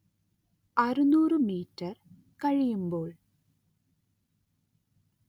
അറുനൂറ് മീറ്റർ കഴിയുമ്പോൾ